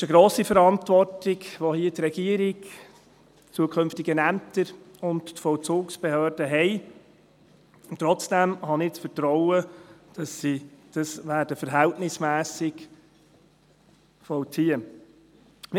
Es ist eine grosse Verantwortung, welche die Regierung, zukünftige Ämter und die Vollzugsbehörden hier haben, und trotzdem habe ich das Vertrauen, dass sie dies verhältnismässig vollziehen werden.